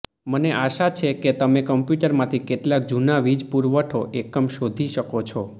મને આશા છે કે તમે કમ્પ્યૂટરમાંથી કેટલાક જૂના વીજ પુરવઠો એકમ શોધી શકો છો